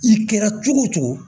I kɛra cogo o cogo